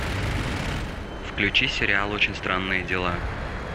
включи сериал очень странные дела